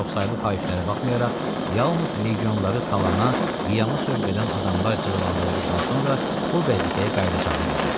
Çoxsaylı xahişlərə baxmayaraq, yalnız legionları talana, qiyama sövq edən adamlar cəzalandırıldıqdan sonra bu vəzifəyə qayıdacağını bildirdi.